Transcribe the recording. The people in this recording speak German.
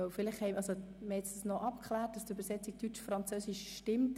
Wir haben noch abgeklärt, dass die Übersetzung Deutsch–Französisch stimmt.